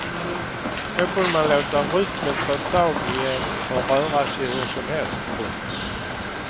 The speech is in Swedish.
Då kunde man låta rytmen ta tag i en och röra sig hur som helst. punkt